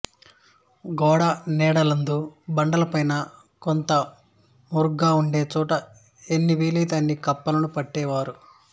గోడ నీడలందు బండల పైన కొంత మరుగ్గా వుండే చోట ఎన్ని వీలైతే అన్ని కుప్పలను పెట్టే వారు